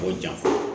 K'o ja